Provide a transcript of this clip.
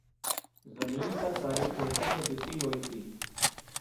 ਜ਼ਮੀਨ ਤਾਂ ਸਾਰੀ ਠੇਕੇ ਤੇ ਦਿੱਤੀ ਹੋਈ ਸੀ.